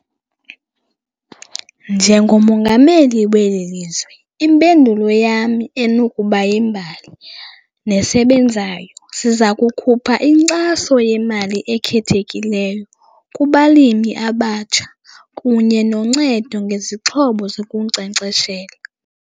Njengomongameli weli lizwe impendulo yam enokuba yimbali nesebenzayo, siza kukhupha inkxaso yemali ekhethekileyo kubalimi abatsha kunye noncedo ngezixhobo zokunkcenkceshela.